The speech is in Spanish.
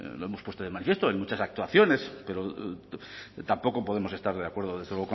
lo hemos puesto de manifiesto en muchas actuaciones pero tampoco podemos estar de acuerdo desde